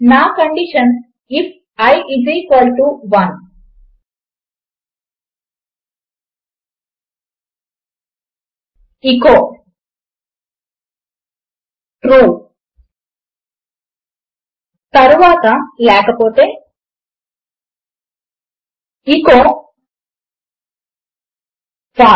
నా condition IF 11 echo true తరువాత లేకపోతే ఎచో ఫాల్సే